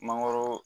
Mangoro